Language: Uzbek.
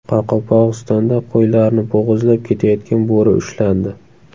Qoraqalpog‘istonda qo‘ylarni bo‘g‘izlab ketayotgan bo‘ri ushlandi.